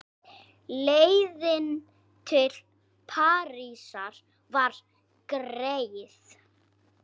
Leiðin til Parísar var greið.